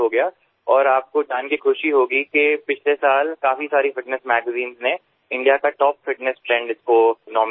અને આપને જાણીને આનંદ થશે કે ગયા વર્ષે ઘણાં બધા ફિટનેસ સામયિકોમાં indiaના ટોપ ફિટનેસ trendમાં આ આનંદને નામાંકિત કરાયો છે